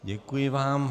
Děkuji vám.